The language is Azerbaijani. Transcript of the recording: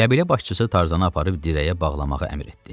Qəbilə başçısı Tarzanı aparıb dirəyə bağlamağı əmr etdi.